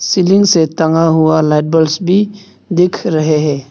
Ceiling से टंगा हुआ लाइट बल्ब्स भी दिख रहे हैं।